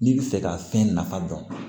N'i bɛ fɛ ka fɛn nafa dɔn